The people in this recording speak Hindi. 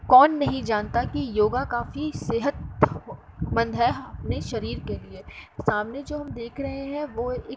कौन नहीं जानता की योगा काफी सेहतमंद है। अपने शरीर के लिए सामने जो हम देख रहे हैं वो एक --